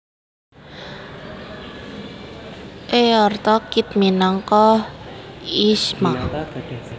Eartha Kitt minangka Yzma